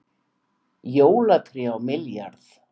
Jólatré á milljarð